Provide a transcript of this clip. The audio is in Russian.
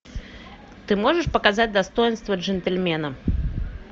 ты можешь показать достоинство джентльмена